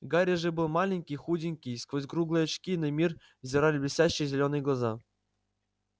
гарри же был маленький худенький сквозь круглые очки на мир взирали блестящие зелёные глаза